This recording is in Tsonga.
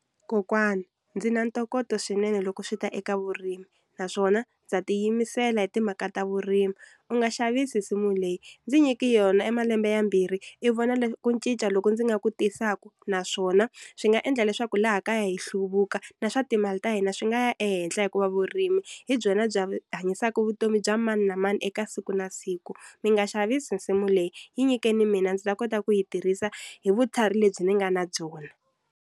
Kokwani ndzi na ntokoto swinene loko swi ta eka vurimi naswona ndza tiyimisela hi timhaka ta vurimi u nga xavisi nsimu leyi ndzi nyiki yona emalembe yambirhi i vona ku ncinca loko ndzi nga ku tisaka, naswona swi nga endla leswaku laha kaya hi hluvuka na swa timali ta hina swi nga ya ehenhla hikuva vurimi hi byona hanyisaka vutomi bya mani na mani eka siku na siku, mi nga xavisi nsimu leyi yi nyikeni mina ndzi ta kota ku yi tirhisa hi vutlhari lebyi ni nga na byona.